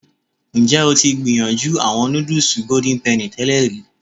Njẹ o ti gbiyanju awọn nudus Golden Penny tẹlẹ ri?